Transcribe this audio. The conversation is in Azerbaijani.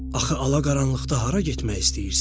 Axı, alaqaranlıqda hara getmək istəyirsən?